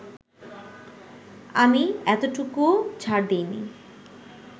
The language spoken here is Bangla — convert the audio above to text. আমি এতটুকুও ছাড় দেইনি